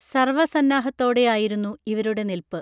സർവ സന്നാഹത്തോടെയായിരുന്നു ഇവരുടെ നിൽപ്പ്